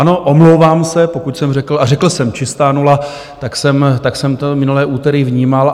Ano, omlouvám se, pokud jsem řekl, a řekl jsem čistá nula, tak jsem to minulé úterý vnímal.